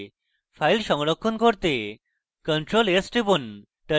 file সংরক্ষণ করতে ctrl + s টিপুন